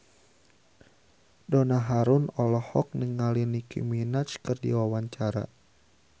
Donna Harun olohok ningali Nicky Minaj keur diwawancara